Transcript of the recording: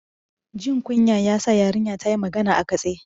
Jin kunya ya sa yarinyar ta yi magana a katse.